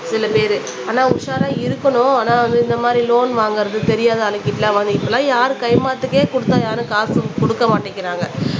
சில பேரு ஆனா உஷாரா இருக்கணும் ஆனா வந்து இந்த மாதிரி லோன் வாங்குறது தெரியாது இப்பெல்லாம் யாரு கைமாத்துக்கே குடுத்தா யாரும் காசும் குடுக்க மாட்டேங்குறாங்க